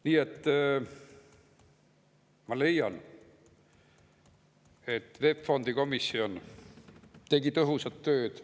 Nii et ma leian, et VEB Fondi komisjon tegi tõhusat tööd.